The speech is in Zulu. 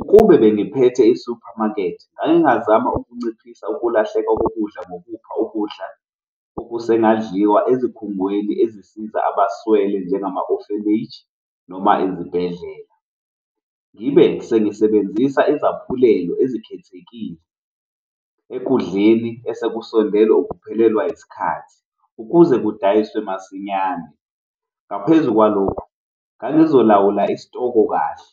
Ukube bengiphethe i-supermarket ngake ngazama ukunciphisa ukulahleka kokudla ngokupha ukudla okusengadliwa ezikhungweni ezisiza abaswele njengama-orphanage noma izibhedlela. Ngibe sengisebenzisa izaphulelo ezikhethekile ekudleni esekusondele ukuphelelwa isikhathi ukuze kudayiswe masinyane. Ngaphezu kwalokho, ngangizolawula isitoko kahle